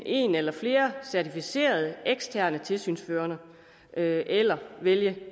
en eller flere certificerede eksterne tilsynsførende eller vælge